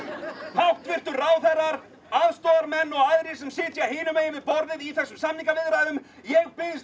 háttvirtu ráðherrar aðstoðarmenn og aðrir sem sitja hinum megin við borðið í þessum samningaviðræðum ég biðst